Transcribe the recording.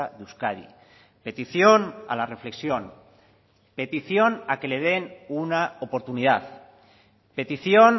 de euskadi petición a la reflexión petición a que le den una oportunidad petición